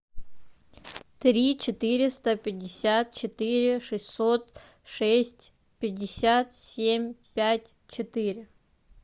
три четыреста пятьдесят четыре шестьсот шесть пятьдесят семь пять четыре